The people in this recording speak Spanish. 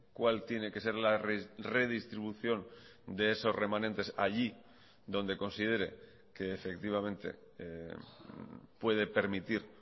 cuál tiene que ser la redistribución de esos remanentes allí donde considere que efectivamente puede permitir